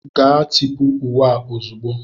Gaa tipụ uwe a ozugbo!